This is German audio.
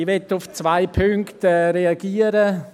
Ich möchte auf zwei Punkte reagieren.